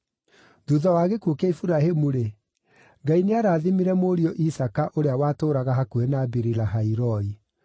Thuutha wa gĩkuũ kĩa Iburahĩmu-rĩ, Ngai nĩarathimire mũriũ Isaaka ũrĩa watũũraga hakuhĩ na Biri-Lahai-Roi.